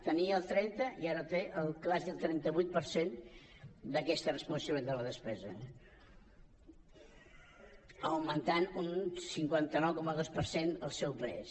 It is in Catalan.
tenia el trenta i ara té quasi el trenta vuit per cent d’aquesta responsabilitat de la despesa i ha augmentat un cinquanta nou coma dos per cent el seu pes